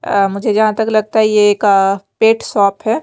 अ मुझे जहाँ तक लगता है ये एक अ अ पेट शॉप है।